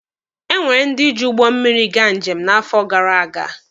Enwere ndị ji ụgbọ mmịrị gaa njem n'afọ gara aga.